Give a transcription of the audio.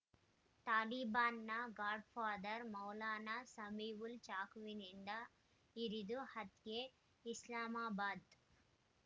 ತಾಲಿಬಾನ್‌ನ godfather ಮೌಲಾನಾ ಸಮೀವುಲ್‌ ಚಾಕುವಿನಿಂದ ಇರಿದು ಹತ್ಯೆ ಇಸ್ಲಾಮಾಬಾದ್‌